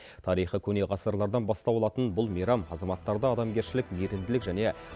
тарихы көне ғасырлардан бастау алатын бұл мейрам азаматтарды адамгершілік мейірімділік және